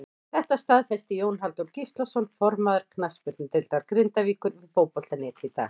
Þetta staðfesti Jón Halldór Gíslason formaður knattspyrnudeildar Grindavíkur við Fótbolta.net í dag.